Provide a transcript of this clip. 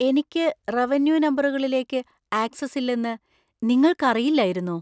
എനിക്ക് റവന്യൂ നമ്പറുകളിലേക്ക് ആക്സസ് ഇല്ലെന്നു നിങ്ങൾക്കറിയില്ലായിരുന്നോ?